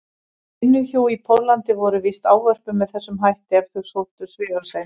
vinnuhjú í Póllandi voru víst ávörpuð með þessum hætti ef þau þóttu svifasein.